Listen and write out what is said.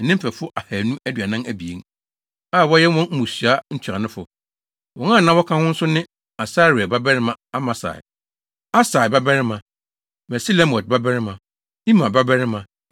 ne ne mfɛfo ahannu aduanan abien (242) a wɔyɛ wɔn mmusua ntuanofo. Wɔn a na wɔka ho nso ne Asarel babarima Amasai, Ahsai babarima, Mesilemot babarima, Imer babarima